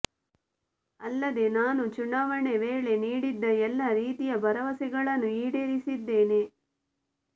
ಅಲ್ಲದೆ ನಾನು ಚುನಾವಣೆ ವೇಳೆ ನೀಡಿದ್ದ ಎಲ್ಲಾ ರೀತಿಯ ಭರವಸೆಗಳನ್ನು ಈಡೇರಿಸಿದ್ದೇನೆ